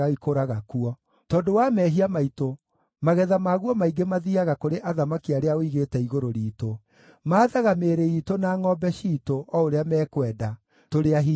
Tondũ wa mehia maitũ, magetha maguo maingĩ mathiiaga kũrĩ athamaki arĩa ũigĩte igũrũ riitũ. Maathaga mĩĩrĩ iitũ na ngʼombe ciitũ o ũrĩa mekwenda. Tũrĩ ahinyĩrĩrie mũno.